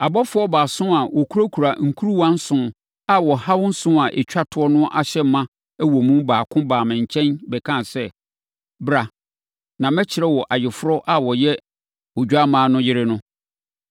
Abɔfoɔ baason a wɔkurakura nkuruwa nson a ɔhaw nson a ɛtwa toɔ no ahyɛ ma wɔ mu baako baa me nkyɛn bɛkaa sɛ, “Bra, na mɛkyerɛ wo Ayeforɔ a ɔyɛ Odwammaa no yere no.”